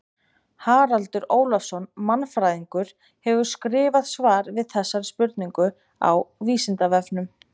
Haraldur Ólafsson mannfræðingur hefur skrifað svar við þessari spurningu á Vísindavefnum.